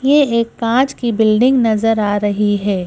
ये एक कांच की बिल्डिंग नजर आ रही है।